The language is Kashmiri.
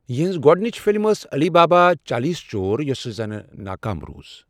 یِہنٛز گۄڈٕنِچ فلم ٲس علی بابا اور چالیس چور یۄس زَن ناکام روٗز۔